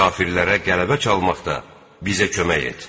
Kafirlərə qələbə çalmaqda bizə kömək et.